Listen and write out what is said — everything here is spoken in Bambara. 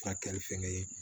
Furakɛli fɛnkɛ